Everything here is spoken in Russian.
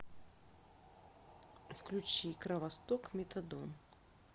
включи кровосток метадон